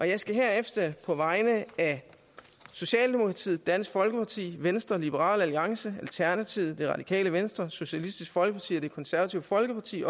jeg skal herefter på vegne af socialdemokratiet dansk folkeparti venstre liberal alliance alternativet det radikale venstre socialistisk folkeparti og det konservative folkeparti